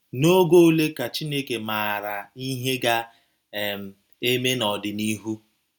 N'ogo ole ka Chineke maara ihe ga - um eme n’ọdịnihu